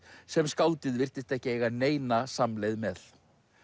sem skáldið virtist ekki eiga neina samleið með